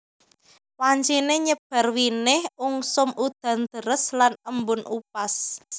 Wanciné nyebar winih ungsum udan deres lan embun upas